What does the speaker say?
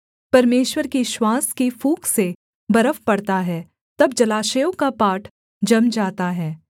परमेश्वर की श्वास की फूँक से बर्फ पड़ता है तब जलाशयों का पाट जम जाता है